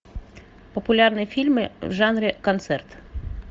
популярные фильмы в жанре концерт